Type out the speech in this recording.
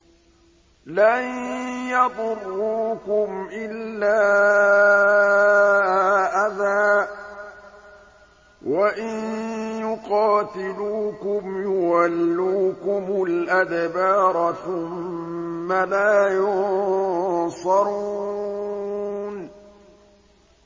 لَن يَضُرُّوكُمْ إِلَّا أَذًى ۖ وَإِن يُقَاتِلُوكُمْ يُوَلُّوكُمُ الْأَدْبَارَ ثُمَّ لَا يُنصَرُونَ